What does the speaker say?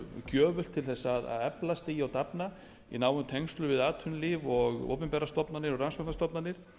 gjöfult til að eflast í og dafna í nánum tengslum við atvinnulíf opinberar stofnanir og rannsóknarstofnanir